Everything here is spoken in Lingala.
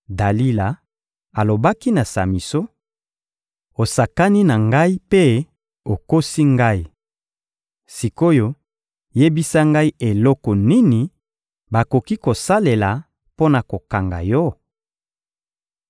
Dalila alobaki na Samison: — Osakani na ngai mpe okosi ngai! Sik’oyo, yebisa ngai eloko nini bakoki kosalela mpo na kokanga yo?